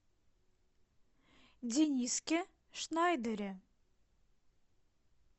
дениске шнайдере